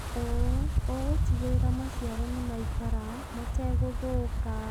ũũ ũgũtigĩrĩra maciaro nĩ maikara mategũthũka.